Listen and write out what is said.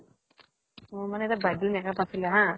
মোৰ মানে এটা bridal makeup আছিলে হা